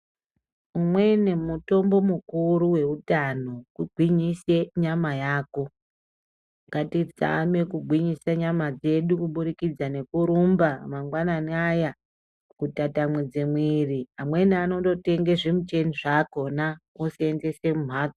Umweni mitombo mukuru weutano kugwinyisa nyama yako. Ngatizame kugwinyisa nyama dzedu kuburikidza ngekurumba mangwanani aya kutatamudze mwiri, amweni anondotenga zvimuchini zvakhona oseenzesa mumhatso .